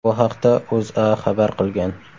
Bu haqda O‘zA xabar qilgan .